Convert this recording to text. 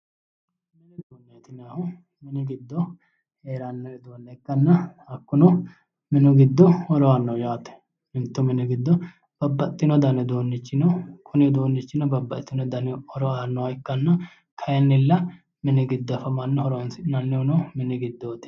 Mini uduuneti yinnannihu mini giddo heeranno uduunne ikkanna hakkuno minu giddo horo aanno yaate ,mittu mini giddo babbaxino dani uduunni no, kuni uduunichino babbaxitino dani horo aannoha ikkanna kaayinnilla mini giddo afamanno horonsi'nannihuno mini giddooti